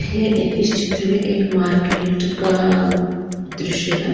ये इस चित्र में एक मार्केट का दृश्य हैं।